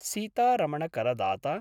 सीतारमणकरदाता